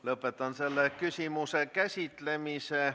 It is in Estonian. Lõpetan selle küsimuse käsitlemise.